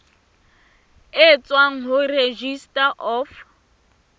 e tswang ho registrar of